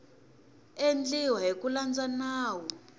endliweke hi ku landza nawu